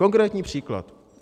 Konkrétní příklad.